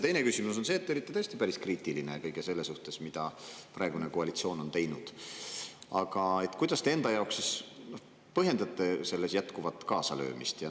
Teine küsimus on see, et te olite tõesti päris kriitiline kõige selle suhtes, mida praegune koalitsioon on teinud, aga kuidas te enda jaoks siis põhjendate selles jätkuvat kaasalöömist.